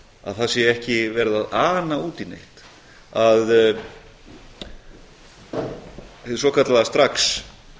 að það sé ekki verið að ana út í neitt að hið svokallaða strax